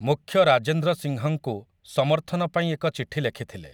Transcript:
ମୁଖ୍ୟ ରାଜେନ୍ଦ୍ର ସିଂହଙ୍କୁ ସମର୍ଥନ ପାଇଁ ଏକ ଚିଠି ଲେଖିଥିଲେ ।